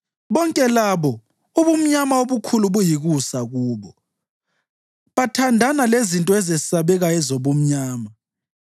Bonke labo ubumnyama obukhulu buyikusa kubo; bathandana lezinto ezesabekayo ezobumnyama.